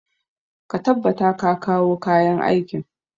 Ka tabbata ka kawo kayan aikin!